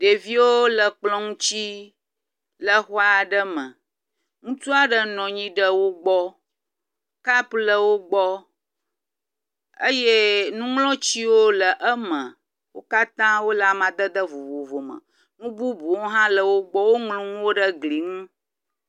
Ɖeviwo le kplɔ ŋuti le xɔ aɖe me, ŋutsu aɖe nɔ anyi le wo gbɔ, kap le wo gbɔ, eye nuŋlɔtiwo le eme, wo katã wole amadede vovovo me. Nu bubuwo hã le wo gbɔ. Woŋlɔ nuwo ɖe gli ŋu.